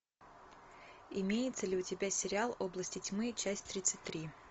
имеется ли у тебя сериал области тьмы часть тридцать три